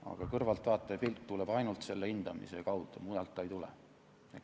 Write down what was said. Aga kõrvaltvaataja pilk tuleb ainult selle hindamise kaudu, mujalt ta ei tule.